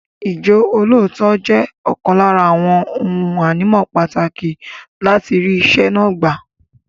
Ìjọ́lóòótọ́ jẹ́ ọ̀kan lára àwọn ohun ànímọ́ pàtàkì láti rí iṣẹ́ náà gbà.